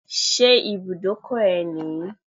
Ṣé ibùdókọ̀ ẹ nìyí?